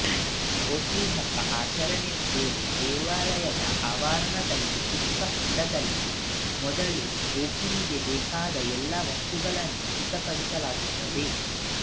ಓಕುಳಿ ಹಬ್ಬ ಆಚರಣೆ ವೇಳೆ ದೇವಾಲಯದ ಆವರಣದಲ್ಲಿರುವ ಚಿಕ್ಕ ಹೊಂಡದಲ್ಲಿ ಮೊದಲು ಓಕುಳಿಗೆ ಬೇಕಾದ ಎಲ್ಲ ವಸ್ತುಗಳನ್ನ ಸಿದ್ಧಪಡಿಸಲಾಗುತ್ತದೆ